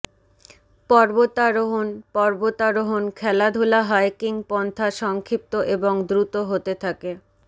পর্বতারোহণ পর্বতারোহণ খেলাধুলা হাইকিং পন্থা সংক্ষিপ্ত এবং দ্রুত হতে থাকে